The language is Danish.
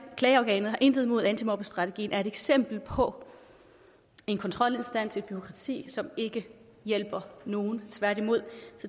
klageorgan jeg har intet imod antimobbestrategien er et eksempel på en kontrolinstans et bureaukrati som ikke hjælper nogen tværtimod